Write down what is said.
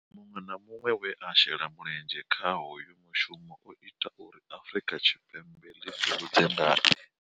Muṅwe na muṅwe we a shela mulenzhe kha hoyu mushumo, o ita uri Afrika Tshipembe ḽi ḓihudze ngae.